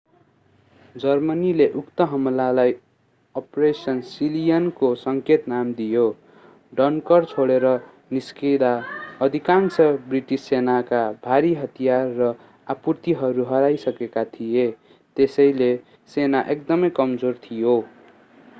जर्मनीले उक्त हमलालाई operation sea lion को सङ्केत नाम दियो डनकर्क छोडेर निस्कँदा अधिकांश ब्रिटिस सेनाका भारी हतियार र आपूर्तिहरू हराइसकेका थिए त्यसैले सेना एकदमै कमजोर थियो